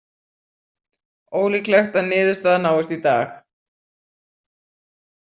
Ólíklegt að niðurstaða náist í dag